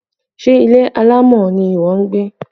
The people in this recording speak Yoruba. Ṣé ilé alámọ̀ ni ìwọ ń gbé?